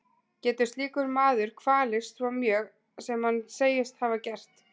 Getur slíkur maður kvalist svo mjög sem hann segist hafa gert?